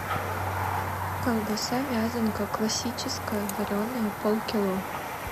колбаса вязанка классическая вареная полкило